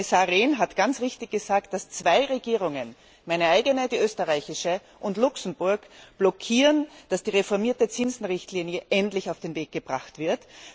Herr Kommissar Rehn hat ganz richtig gesagt, dass zwei Regierungen meine eigene, die österreichische, und Luxemburg blockieren, dass die reformierte Zinsenrichtlinie endlich auf den Weg gebracht wird.